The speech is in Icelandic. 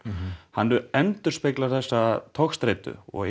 hann endurspeglar þessa togstreitu og